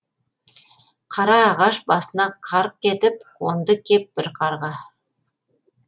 қара ағаш басына қарқ етіп қонды кеп бір қарға